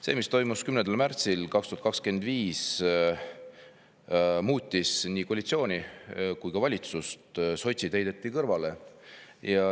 See, mis toimus 10. märtsil 2025, muutis nii koalitsiooni kui ka valitsust: sotsid heideti kõrvale.